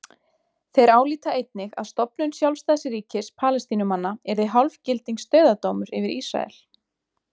Þeir álíta einnig að stofnun sjálfstæðs ríkis Palestínumanna yrði hálfgildings dauðadómur yfir Ísrael.